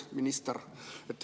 Minister!